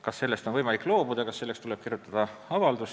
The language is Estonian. Kas sellest on võimalik loobuda ja kas selle saamiseks tuleb kirjutada avaldus?